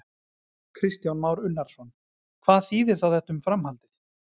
Kristján Már Unnarsson: Hvað þýðir þá þetta um framhaldið?